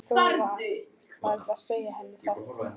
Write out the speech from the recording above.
Nei, ég þori varla að segja henni það.